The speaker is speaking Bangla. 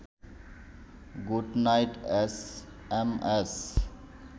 good night S M S